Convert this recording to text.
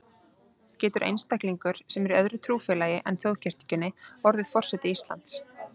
Getur einstaklingur, sem er í öðru trúfélagi en þjóðkirkjunni, orðið forseti Íslands?